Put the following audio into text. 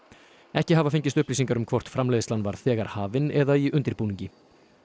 ekki hafa fengist upplýsingar um hvort framleiðslan var þegar hafin eða í undirbúningi